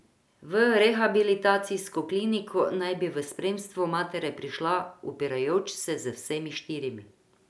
V rehabilitacijsko kliniko naj bi v spremstvu matere prišla, upirajoč se z vsemi štirimi.